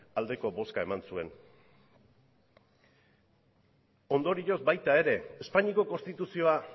aldeko bozka eman zuen ondorioz baita ere espainiako konstituzioa